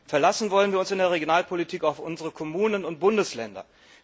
Verlassen wollen wir uns in der Regionalpolitik auf unsere Kommunen und Bundesländer.